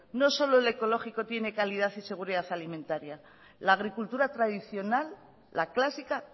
no solo el ecológico tiene calidad y seguridad alimentaria la agricultura tradicional la clásica